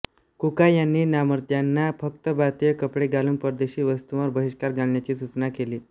कुका यांनी नामधार्यांना फक्त भारतीय कपडे घालून परदेशी वस्तूंवर बहिष्कार घालण्याची सूचना केली